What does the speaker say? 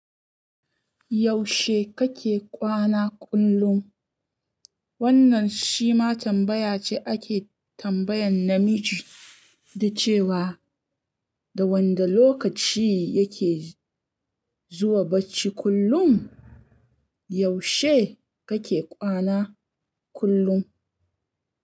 Yaushe kake kwana kullum? Wannan shi ma tambaya ce ake tambayan namiji da cewa, da wanda lokaci yake zuwa bacci kullum. Yaushe kake kwana kullum?